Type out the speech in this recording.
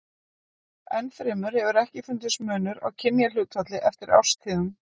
Enn fremur hefur ekki fundist munur á kynjahlutfalli eftir árstíðum.